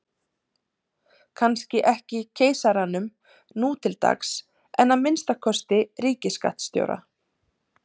Kannski ekki keisaranum nú til dags en að minnsta kosti ríkisskattstjóra.